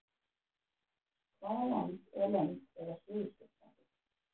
Hvaða land eða lönd eiga Suðurskautslandið?